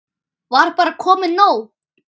Var bara komið nóg?